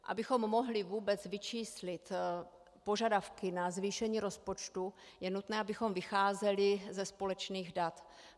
Abychom mohli vůbec vyčíslit požadavky na zvýšení rozpočtu, je nutné, abychom vycházeli ze společných dat.